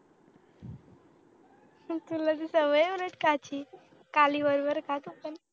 तुला तर सवय आहे उलट खायची खाली वर वर खात असतो